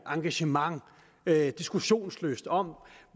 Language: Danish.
engagement diskussionslyst om